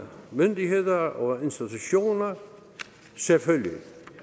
myndigheder og institutioner selvfølgelig